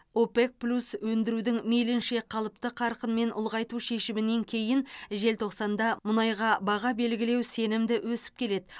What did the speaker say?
опек плюс өндірудің мейлінше қалыпты қарқынмен ұлғайту шешімінен кейін желтоқсанда мұнайға баға белгілеу сенімді өсіп келеді